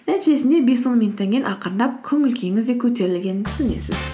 нәтижесінде бес он минуттан кейін ақырындап көңіл күйіңіз де көтерілгенін түсінесіз